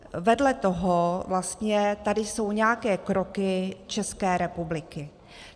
Vedle toho vlastně tady jsou nějaké kroky České republiky.